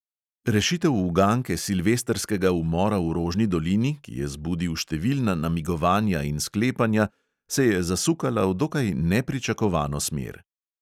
Rešitev uganke silvestrskega umora v rožni dolini, ki je zbudil številna namigovanja in sklepanja, se je zasukala v dokaj nepričakovano smer.